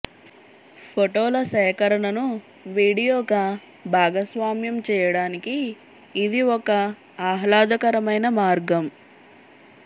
ఫోటోల సేకరణను వీడియోగా భాగస్వామ్యం చేయడానికి ఇది ఒక ఆహ్లాదకరమైన మార్గం